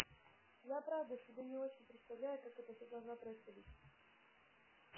я правда себе не очень представляю как это все должно происходить